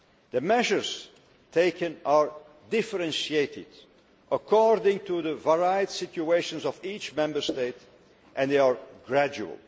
The measures taken are differentiated according to the varied situations of each Member State and they are gradual.